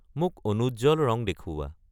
মোক অনুজ্জ্বল ৰং দেখুওৱা